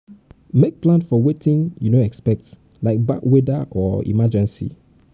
make plan for wetin you no expect like bad weather or emergency